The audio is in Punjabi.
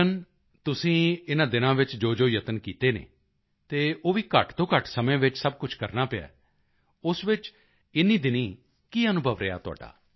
ਕੈਪਟੇਨ ਤੁਸੀਂ ਇਨ੍ਹਾਂ ਦਿਨਾਂ ਵਿੱਚ ਜੋਜੋ ਯਤਨ ਕੀਤੇ ਹਨ ਅਤੇ ਉਹ ਵੀ ਘੱਟ ਤੋਂ ਘੱਟ ਸਮੇਂ ਵਿੱਚ ਸਭ ਕੁਝ ਕਰਨਾ ਪਿਆ ਹੈ ਉਸ ਵਿੱਚ ਇਨ੍ਹੀਂ ਦਿਨੀਂ ਕੀ ਅਨੁਭਵ ਰਿਹਾ ਤੁਹਾਡਾ